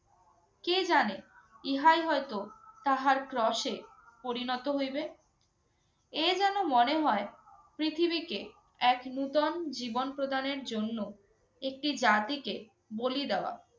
কে জানে ইহাই হয়তো তাহার ক্রশে পরিণত হইবে। এ যেন মনে হয় পৃথিবীকে এক নতুন জীবন প্রদানের জন্য একটি জাতিকে বলি দেওয়া।